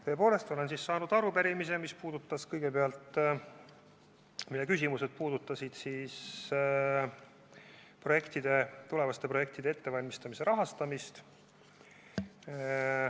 Tõepoolest olen saanud arupärimise, mille küsimused puudutasid tulevaste projektide ettevalmistamise rahastamist.